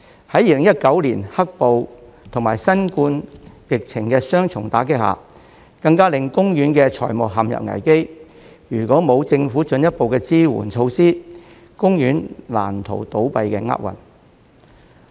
在2019年"黑暴"及新冠疫情的雙重打擊下，更令公園的財務陷入危機，如果沒有政府進一步的支援措施，公園難逃倒閉的厄運。